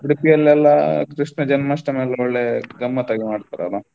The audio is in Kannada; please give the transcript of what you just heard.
Udupi ಯಲ್ಲೆಲ್ಲಾ Krishna Janmastami .